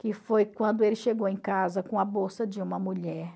Que foi quando ele chegou em casa com a bolsa de uma mulher.